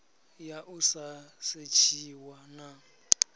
ya u sa setshiwa na